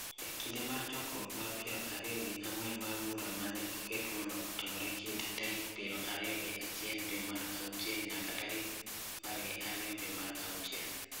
e kinde mar chokruok mar piero ariyo gi ang'wen mar bura ma ne oket mondo otimre e kind tarik piero ariyo gi achiel dwe mar auchiel nyaka tarik apar gi ariyo dwe mar auchiel.